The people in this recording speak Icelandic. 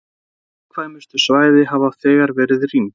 Viðkvæmustu svæðin hafa þegar verið rýmd